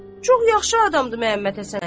Çox yaxşı adamdır Məhəmməd Həsən əmi.